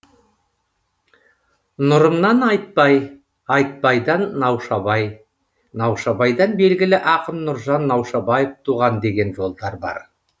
нұрымнан айтбай айтбайдан наушабай наушабайдан белгілі ақын нұржан наушабаев туған деген жолдар бар